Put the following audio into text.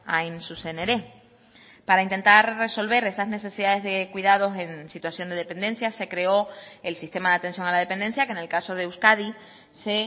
hain zuzen ere para intentar resolver esas necesidades de cuidados en situación de dependencia se creó el sistema de atención a la dependencia que en el caso de euskadi se